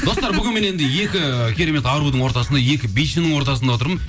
достар бүгін міне енді екі керемет арудың ортасында екі бишінің ортасында отырмын